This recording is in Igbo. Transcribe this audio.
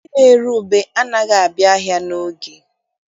Ndị na-ere ube anaghị abịa ahịa n'oge.